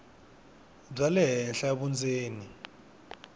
bya le henhla vundzeni